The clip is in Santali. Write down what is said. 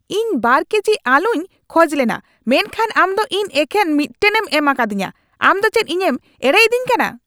ᱤᱧ ᱒ ᱠᱮᱡᱤ ᱟᱹᱞᱩᱧ ᱠᱷᱚᱡ ᱞᱮᱱᱟ ᱢᱮᱱᱠᱷᱟᱱ ᱟᱢ ᱫᱚ ᱤᱧ ᱮᱠᱮᱱ ᱢᱤᱫᱴᱟᱝᱧᱮᱢ ᱮᱢᱟᱠᱟᱫᱤᱧᱟ ! ᱟᱢ ᱫᱚ ᱪᱮᱫ ᱤᱧᱮᱢ ᱮᱲᱮᱭᱤᱫᱤᱧ ᱠᱟᱱᱟ ?